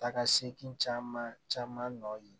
Takasegin caman caman nɔ ye